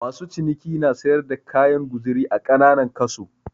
Masu ciniki na siyar da kayan guzuri a kananan kaso.